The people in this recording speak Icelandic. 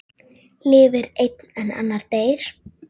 Lifir einn en annar deyr?